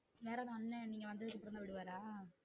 நேரா வந்தன் நீங்க வந்து பண்ண விடுவாரா?